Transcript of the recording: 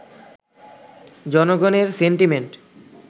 জনগণের সেন্টিমেন্ট